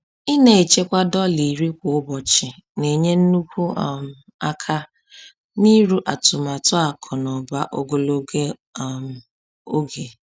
Ịna-echekwa dọla 10 kwa ụbọchị na-enye nnukwu um aka n'iru atụmatụ akụnaụba ogologo um oge.